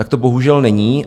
Tak to bohužel není.